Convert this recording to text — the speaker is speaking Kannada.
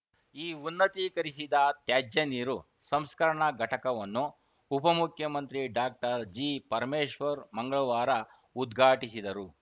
ಈ ಉನ್ನತೀಕರಿಸಿದ ತ್ಯಾಜ್ಯ ನೀರು ಸಂಸ್ಕರಣಾ ಘಟಕವನ್ನು ಉಪಮುಖ್ಯಮಂತ್ರಿ ಡಾಕ್ಟರ್ಜಿಪರಮೇಶ್ವರ್‌ ಮಂಗಳವಾರ ಉದ್ಘಾಟಿಸಿದರು